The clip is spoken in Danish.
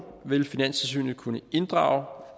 vil finanstilsynet kunne inddrage